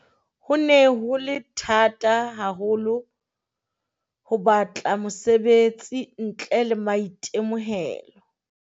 Ho ne ho le thata haho lo ho batla mosebetsi ntle le maitemohelo.